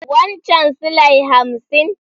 Wancen silai hafsin?